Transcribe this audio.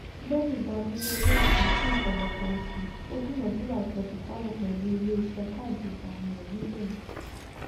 lẹyìn ìdádúró owóòsan fún ọpọlọpọ oṣù ó dúnadúrà ìpẹtùsááwọ pẹlú ilé iṣẹ káàdì ìgbàwìn rẹ nígbẹyìn